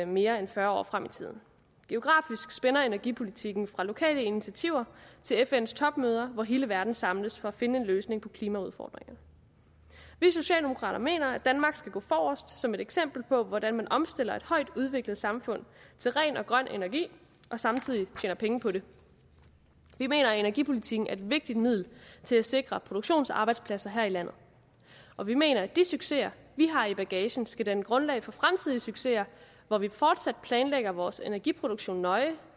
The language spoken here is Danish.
mere end fyrre år frem i tiden geografisk spænder energipolitikken fra lokale initiativer til fns topmøde hvor hele verden samles for at finde en løsning på klimaudfordringerne vi socialdemokrater mener at danmark skal gå forrest som et eksempel på hvordan man opstiller et højt udviklet samfund til ren og grøn energi og samtidig tjener penge på det vi mener at energipolitikken er et vigtigt middel til at sikre produktionsarbejdspladser her i landet og vi mener at de succeser vi har i bagagen skal danne grundlag for fremtidens succeser hvor vi fortsat planlægger vores energiproduktion nøje